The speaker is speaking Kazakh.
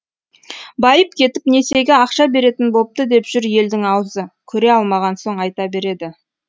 байып кетіп несиеге ақша беретін бопты деп жүр елдің аузы көре алмаған соң айта береді